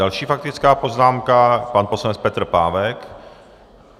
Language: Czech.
Další faktická poznámka, pan poslanec Petr Pávek.